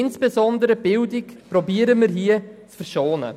Insbesondere versuchen wir die Bildung zu verschonen.